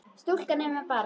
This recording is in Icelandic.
Stúlkan er með barni.